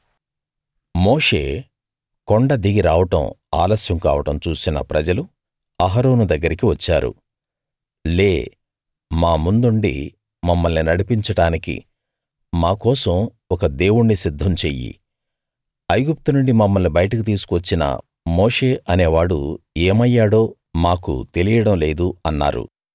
మోషే కొండ దిగి రావడం ఆలస్యం కావడం చూసిన ప్రజలు అహరోను దగ్గరికి వచ్చారు లే మా ముందుండి మమ్మల్ని నడిపించడానికి మా కోసం ఒక దేవుణ్ణి సిద్ధం చెయ్యి ఐగుప్తు నుండి మమ్మల్ని బయటకు తీసుకు వచ్చిన మోషే అనే వాడు ఏమయ్యాడో మాకు తెలియడం లేదు అన్నారు